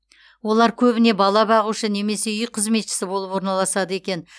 олар көбіне бала бағушы немесе үй қызметшісі болып орналасады екен